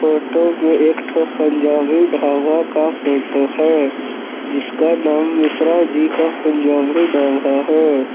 Photo में एक ठो पंजाबी ढाबा का फोटो है जिसका नाम मिश्रा जी का पंजाबी ढाबा है।